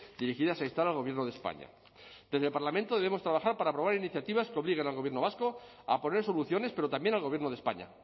dirigidas a instar al gobierno de españa desde el parlamento debemos trabajar para aprobar iniciativas que obliguen al gobierno vasco a poner soluciones pero también al gobierno de españa